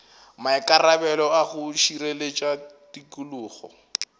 maikarabelo a go šireletša tikologo